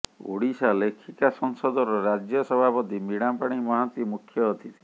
ଓହିଶା ଲେଖିକା ସଂସଦର ରାଜ୍ୟସଭାପତି ବିଣାପାଣୀ ମହାନ୍ତି ମୁଖ୍ୟ ଅତିଥି